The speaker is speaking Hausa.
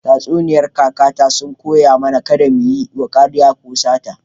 Tatsuniyar kakata sun koya mana kada mu yi ƙarya ko sata.